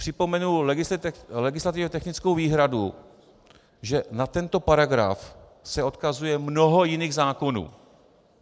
Připomenu legislativně technickou výhradu, že na tento paragraf se odkazuje mnoho jiných zákonů.